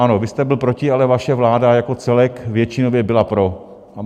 Ano, vy jste byl proti, ale vaše vláda jako celek většinově byla pro.